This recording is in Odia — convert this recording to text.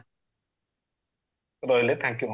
ରହିଲି thank you